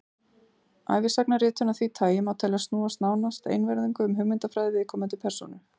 ævisagnaritun af því tagi má teljast snúast nánast einvörðungu um hugmyndafræði viðkomandi persónu